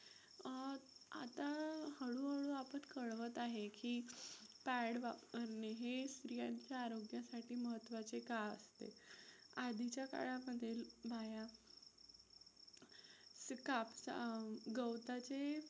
कळवत आहे की pad वापरणे हे स्त्रियांच्या आरोग्यासाठी महत्त्वाचे का असते? आधीच्या काळामधील बाया गवताचे